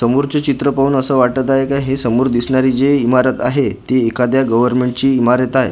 समोरचे चित्र पाहून असं वाटत आहे का हे समोर दिसणारी जी इमारत आहे ती एखाद्या गव्हर्मेंट ची इमारत आहे.